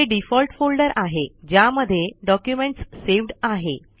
हे default folder आहे ज्यामध्ये डॉक्यूमेंट्स सेव्ड आहे